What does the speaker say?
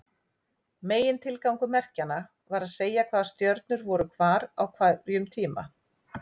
Megintilgangur merkjanna var að segja hvaða stjörnur voru hvar á hverjum tíma.